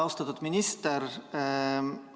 Austatud minister!